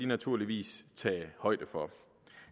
naturligvis tage højde for